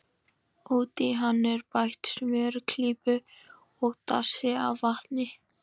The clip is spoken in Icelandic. Út í hann er bætt smjörklípu og dassi af vatni.